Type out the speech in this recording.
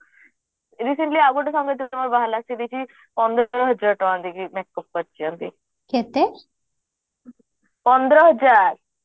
ଏଇ ଯାଉ ସେମିତି ଆଉ ଗୋଟେ ସାଙ୍ଗଟେ ମୋର ବାହାହେଲା ସେ ଦେଇଛି ପନ୍ଦର ହଜାର ଟଙ୍କା ଦେଇକି make up କରିଛନ୍ତି ପନ୍ଦର ହଜାର